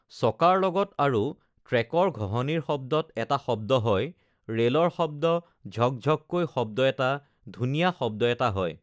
চকাৰ লগত আৰু ট্ৰেকৰ ঘহঁনিৰ শব্দত এটা শব্দ হয় ৰেলৰ শব্দ ঝক ঝককৈ শব্দ এটা ধুনীয়া শব্দ এটা হয়